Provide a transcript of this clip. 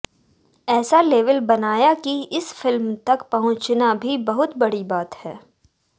ऐसा लेवल बनाया की इस फिल्म तक पहुंचना भी बहुत बड़ी बात है